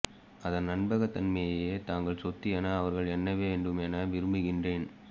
அதன் நம்பகத்தன்மையையே தங்கள் சொத்து என அவர்கள் எண்ணவேண்டும் என விரும்புகிறேன்